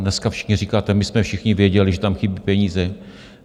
Dneska všichni říkáte: my jsme všichni věděli, že tam chybí peníze.